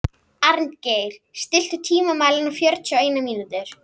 Arngeir, stilltu tímamælinn á fjörutíu og eina mínútur.